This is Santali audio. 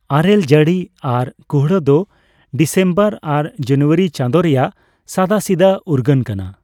ᱟᱨᱮᱹᱞ ᱡᱟᱹᱲᱤ ᱟᱨ ᱠᱩᱦᱲᱟᱹ ᱫᱚ ᱰᱤᱥᱮᱢᱵᱚᱨ ᱟᱨ ᱡᱚᱱᱩᱣᱟᱨᱤ ᱪᱟᱸᱫᱳ ᱨᱮᱭᱟᱜ ᱥᱟᱫᱟᱥᱤᱫᱟᱹ ᱩᱨᱜᱟᱹᱱ ᱠᱟᱱᱟ ᱾